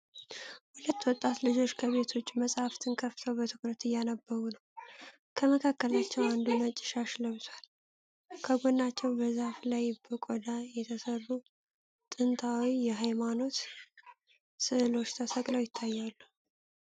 ሁለት ወጣት ልጆች ከቤት ውጪ መጻሕፍትን ከፍተው በትኩረት እያነበቡ ነው። ከመካከላቸው አንዱ ነጭ ሻሽ ለብሷል፤ ከጎናቸውም በዛፍ ላይ በቆዳ የተሰሩ ጥንታዊ የሃይማኖት ሥዕሎች ተሰቅለው ይታያሉ።